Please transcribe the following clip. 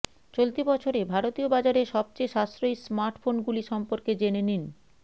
চলতি বছরে ভারতীয় বাজারে সবচেয়ে সাশ্রয়ী স্মার্টফোন গুলি সম্পর্কে জেনে নিন